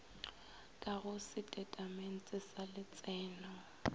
ka go setatamente sa letseno